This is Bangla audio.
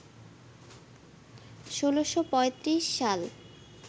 ১৬৩৫ সাল